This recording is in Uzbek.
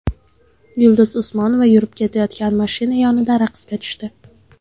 Yulduz Usmonova yurib ketayotgan mashina yonida raqsga tushdi .